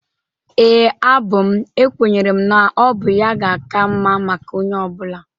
Ee, abụ m. Ekwenyere m na ọ bụ ya ga-aka mma maka onye ọbụla.